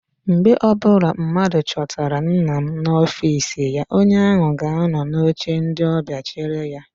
Mgbe ọbụla mmadụ chọtara nna m n'ọfịịsi ya, onye ahụ ga anọ n'oche ndị ọbịa chere ya.